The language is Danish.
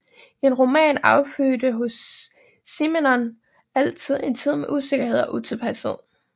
En roman affødte hos Simenon altid en tid med usikkerhed og utilpashed